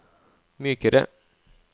mykere